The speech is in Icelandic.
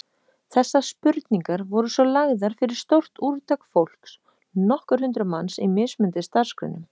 Þessar spurningar voru svo lagðar fyrir stórt úrtak fólks, nokkur hundruð manns, í mismunandi starfsgreinum.